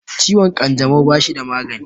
Ciwon ƙanjamau bashi da magani